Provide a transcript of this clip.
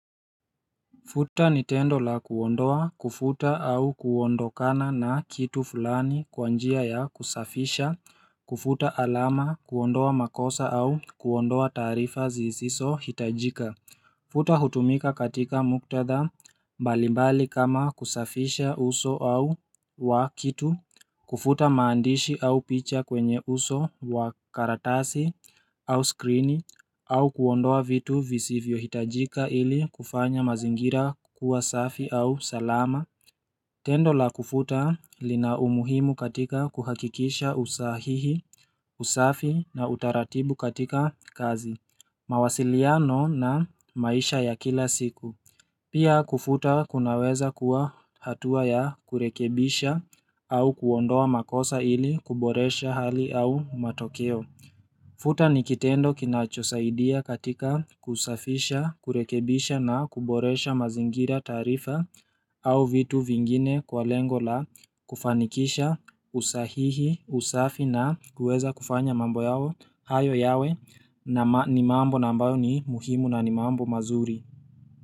Futa ni tendo la kuondoa kufuta au kuondokana na kitu fulani kwa njia ya kusafisha kufuta alama, kuondoa makosa au kuondoa taarifa zisisohitajika Futa hutumika katika muktadha mbalimbali kama kusafisha uso au wa kitu kufuta maandishi au picha kwenye uso wa karatasi au skrini au kuondoa vitu visivyohitajika ili kufanya mazingira kuwa safi au salama Tendo la kufuta lina umuhimu katika kuhakikisha usahihi, usafi na utaratibu katika kazi mawasiliano na maisha ya kila siku Pia kufuta kunaweza kuwa hatua ya kurekebisha au kuondoa makosa ili kuboresha hali au matokeo Futa ni kitendo kinachosaidia katika kusafisha, kurekebisha na kuboresha mazingira taarifa au vitu vingine kwa lengo la kufanikisha usahihi, usafi na kueza kufanya mambo yao hayo yawe na ni mambo na ambayo ni muhimu na ni mambo mazuri.